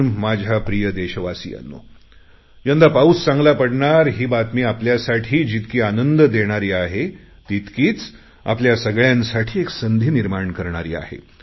पण माझ्या प्रिय देशवासीयांनो यंदा पाऊस चांगला पडणार ही बातमी आपल्यासाठी जितकी आनंद देणारी आहे तितकीच आपल्या सगळ्यांसाठी एक संधी निर्माण करणारी आहे